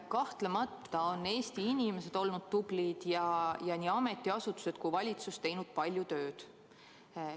Kahtlemata on Eesti inimesed olnud tublid ja nii ametiasutused kui valitsus teinud palju tööd.